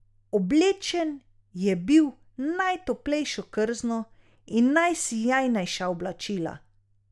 Oblečen je bil v najtoplejše krzno in najsijajnejša oblačila.